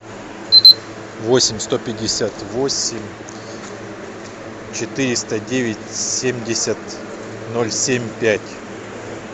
восемь сто пятьдесят восемь четыреста девять семьдесят ноль семь пять